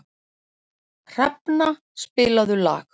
Hrafna, spilaðu lag.